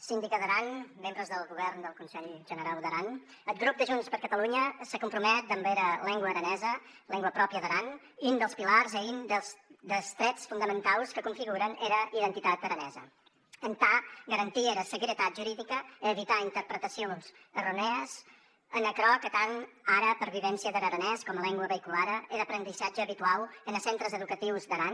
síndica d’aran membres del govern del conselh generau d’aran eth grop de junts per catalunya se compromet damb era lengua aranesa lengua pròpria d’aran un des pilars e un des trèts fondamentaus que configuren era identitat aranesa entà garantir era seguretat juridica e evitar interpretacions erronèes en aquerò que tanh ara pervivéncia der aranés coma lengua veïculara en aprendissatge abituau enes centres educatius d’aran